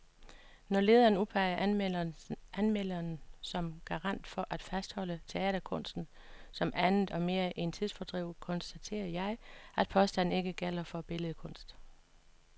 Når lederen udpeger anmelderen som garant for at fastholde teaterkunsten som andet og mere end tidsfordriv, konstaterer jeg, at påstanden ikke gælder for billedkunst.